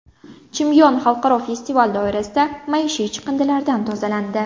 Chimyon xalqaro festival doirasida maishiy chiqindilardan tozalandi.